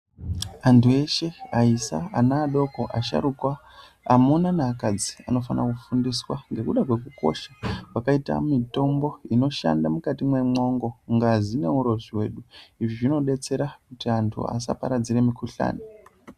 Antu eshe aisa ana adoko asharuka amuna naakadzi anofanira kufundiswa ngekuda kwekukosha kwakaita mitombo inoshanda mukati mwemwongo ngazi neurozvi hwedu. Izvi zvinodetsera kuti antu asaparadzire mikhuhlani.